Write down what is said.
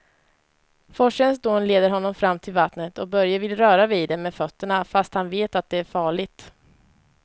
Forsens dån leder honom fram till vattnet och Börje vill röra vid det med fötterna, fast han vet att det är farligt.